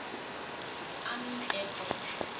army air corps